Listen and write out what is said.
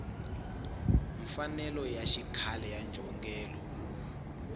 mfanelo ya xikhale ya njhongelo